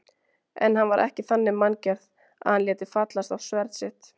En hann var ekki þannig manngerð að hann léti fallast á sverð sitt.